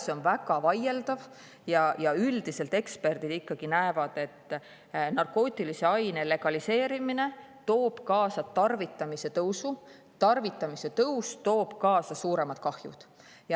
See on väga vaieldav ja üldiselt eksperdid ikkagi arvavad, et narkootilise aine legaliseerimine toob kaasa tarvitamise tõusu ja tarvitamise tõus toob kaasa suuremad kahjud.